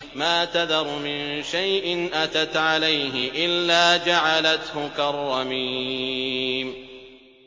مَا تَذَرُ مِن شَيْءٍ أَتَتْ عَلَيْهِ إِلَّا جَعَلَتْهُ كَالرَّمِيمِ